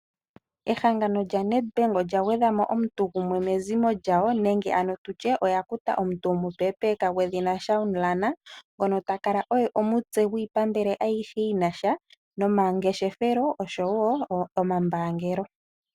Ehangano lya NedBank olya gwedha mo omuntu gumwe mezimo lyawo, nenge ano tutye oya kuta omuntu omupepeka gwedhina Shauhn Lahner. Ngono ta kale omutse gwiipambele ayihe yi na sha nomangeshefelo oshowo omambaangelo.